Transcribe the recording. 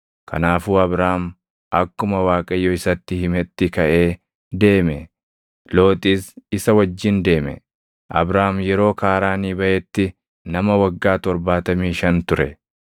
Kanaafuu Abraam akkuma Waaqayyo isatti himetti kaʼee deeme; Looxis isa wajjin deeme. Abraam yeroo Kaaraanii baʼetti nama waggaa torbaatamii shan ture.